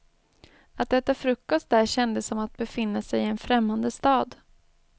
Att äta frukost där kändes som att befinna sig i en främmande stad.